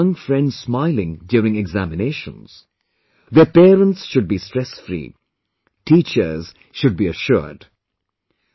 I want to see my young friends smiling during examinations, their parents should be stressfree, teachers should be assured